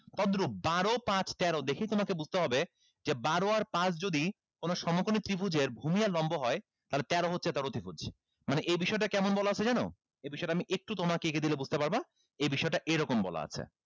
তদ্রুপ বারো পাঁচ তেরো দেখেই তোমাকে বুঝতে হবে যে বারো আর পাঁচ যদি কোনো সমকোণী ত্রিভুজের ভূমি আর লম্ব হয় তাহলে তেরো হচ্ছে তার অধিপতি মানে এই বিষয়টা কেমন বলা আছে জানো এই বিষয়টা আমি একটু তোমাকে এঁকে দিলে বুঝতে পারবা এই বিষয়টা এইরকম বলা আছে